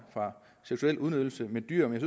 fra seksuel udnyttelse af dyr men